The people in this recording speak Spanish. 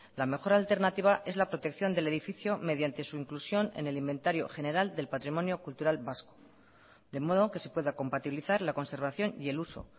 la mejor alternativa es la protección del edificio mediante su inclusión en el inventario general del patrimonio cultural vasco de modo que se pueda compatibilizar la conservación y el uso